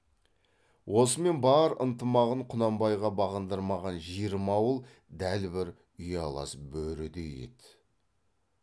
осымен бар ынтымағын құнанбайға бағындырмаған жиырма ауыл дәл бір ұялас бөрідей еді